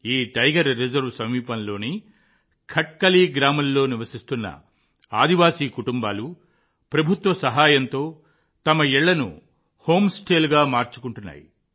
ఈ tiger reserve సమీపంలోని ఖట్కలి గ్రామంలో నివసిస్తున్న ఆదివాసీ కుటుంబాలు ప్రభుత్వ సహాయంతో తమ ఇళ్లను హోమ్ స్టేలుగా మార్చుకున్నాయి